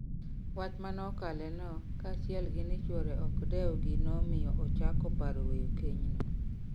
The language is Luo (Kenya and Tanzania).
Wach manokale no kachiel gi ni chuore nokdeu gi nomiyo ochako paro weyo keny no